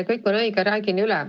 Kõik on õige, räägin üle.